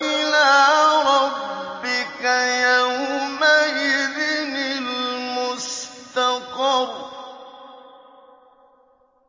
إِلَىٰ رَبِّكَ يَوْمَئِذٍ الْمُسْتَقَرُّ